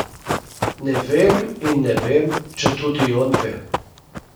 Ne vem in ne vem, če tudi on ve.